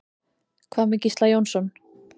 Hvað með Gísla Jónsson?